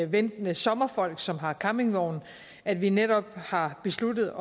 ventende sommerfolk som har campingvogn at vi netop har besluttet